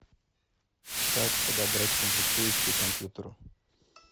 как подобрать комплектующие к компьютеру